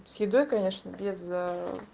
с едой конечно без